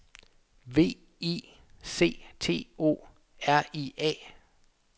V I C T O R I A